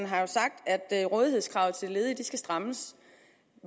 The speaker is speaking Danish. har jo sagt at rådighedskravet til ledige skal strammes